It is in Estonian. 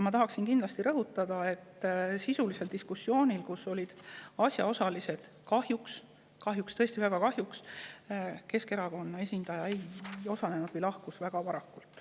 Ma tahan aga veel rõhutada, et sisulises diskussioonis, kui komisjonis olid asjaosalised, kahjuks – sellest on tõesti väga kahju – Keskerakonna esindaja kas ei osalenud või lahkus väga varakult.